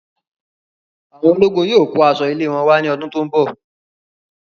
Awọn ológun yóò kó aṣọ ilé wọn wà ní ọdún tó n bọ